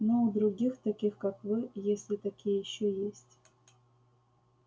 ну у других таких как вы если такие ещё есть